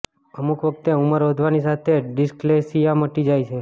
અમુક વખતે ઉમર વધવાની સાથે ડીસ્લેકસીયા મટી જાય છે